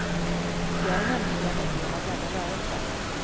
Jag är nämligen en del av denna rörelse.